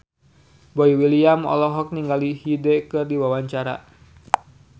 Boy William olohok ningali Hyde keur diwawancara